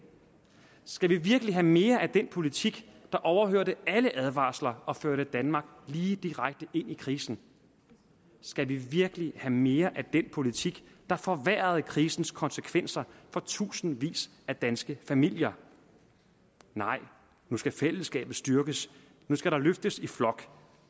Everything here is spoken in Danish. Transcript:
skal vi virkelig have mere af den politik der overhørte alle advarsler og førte danmark lige direkte ind i krisen skal vi virkelig have mere af den politik der forværrede krisens konsekvenser for tusindvis af danske familier nej nu skal fællesskabet styrkes nu skal der løftes i flok